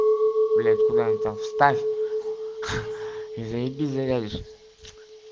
блядь куда он там вставь и заебись завяжешь